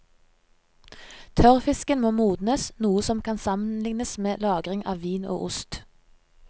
Tørrfisken må modnes, noe som kan sammenlignes med lagring av vin og ost.